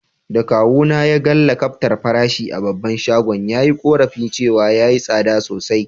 Da kawu na ya gan lakabtar farashi a babban shagon, ya yi korafi cewa ya yi sada sosai.